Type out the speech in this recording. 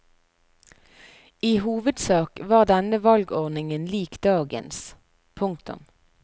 I hovedsak var denne valgordningen lik dagens. punktum